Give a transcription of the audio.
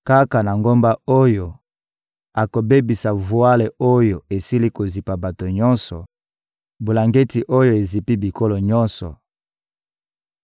Kaka na ngomba oyo, akobebisa vwale oyo esili kozipa bato nyonso, bulangeti oyo ezipi bikolo nyonso;